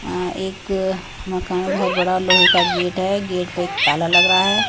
अ एक मकान बहुत बड़ा लोहे का गेट हैं गेट पे एक ताला लग रहा हैं ।